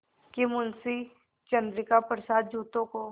कि मुंशी चंद्रिका प्रसाद जूतों को